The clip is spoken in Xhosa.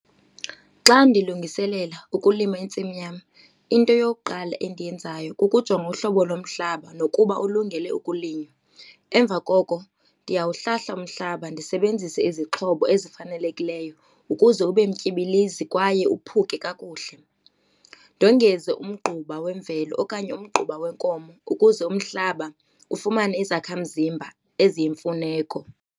Xa ndilungiselela ukulima intsimi yam, into yokuqala endiyenzayo kukujonga uhlobo lomhlaba nokuba ulungele ukulinywa. Emva koko ndiyawuhlahla umhlaba ndisebenzise izixhobo ezifanelekileyo ukuze ube mtyibilizi kwaye uphuke kakuhle. Ndongeze umgquba wemvelo okanye umgquba wenkomo ukuze umhlaba ufumane izakhamzimba eziyimfuneko.